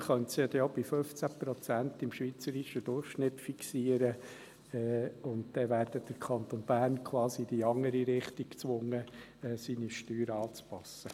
Man könnte sie ja auch bei 15 Prozent im schweizerischen Durchschnitt fixieren, und dann wäre der Kanton Bern quasi in die andere Richtung gezwungen, seine Steuern anzupassen.